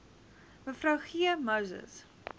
me g moses